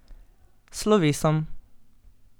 S slovesom.